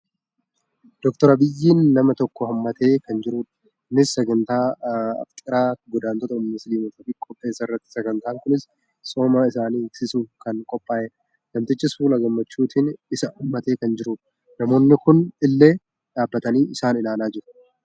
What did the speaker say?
Dooktar Abiy nama tokko hammatee kan jirudha. Innis sagantaa afxiraa godaantota musliimotaaf qopheesserratti. Sagantaan kunis tsoomii isaan hiiksisuuf kan qophaa'edha. Namtichis fuula gammachuutiin isa hammatee kan jirudha. Namoonii kuun illee dhaabbatanii isaan ilaalaa jiru.